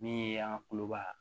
Min ye an kuloba